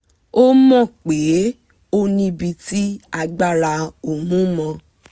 ó mọ̀ pé ó níbi tí agbára òun mọ